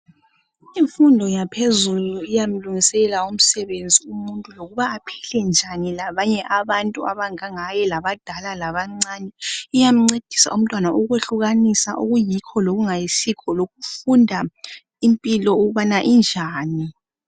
Imfundo yaphezulu iyamlungisela umsebenzi umuntu lokuba aphilenjani labanye abantu abangangaye labadala labancane, iyamncedisa umntwana ukwehlukanisa okuyikho lokungayisikho lokufunda impilo ukubana injani.